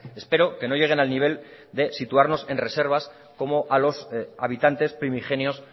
espero que no lleguen al nivel de situarnos en reservas como a los habitantes primigenios